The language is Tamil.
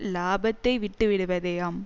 இலாபத்தை விட்டு விடுவதே ஆம்